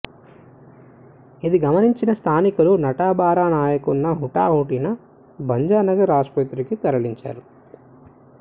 ఇది గమనించిన స్థానికులు నటబర నాయక్ను హుటాహుటిన భంజనగర్ ఆసుపత్రికి తరలించారు